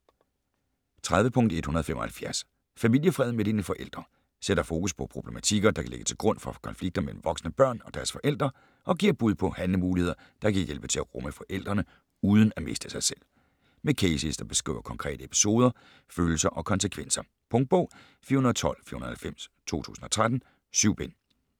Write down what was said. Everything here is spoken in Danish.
30.175 Familiefred med dine forældre Sætter fokus på problematikker, der kan ligge til grund for konflikter mellem voksne børn og deres forældre, og giver bud på handlemuligheder, der kan hjælpe til at rumme forældrene uden at miste sig selv. Med cases der beskriver konkrete episoder, følelser og konsekvenser. Punktbog 412490 2013. 7 bind.